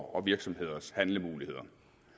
og virksomheders handlemuligheder